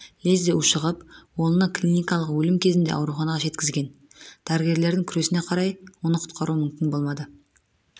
лезде ушығып оны клиникалық өлім кезінде ауруханаға жеткізген дәрігерлердің күресіне қарай оны құтқару мүмкін болмады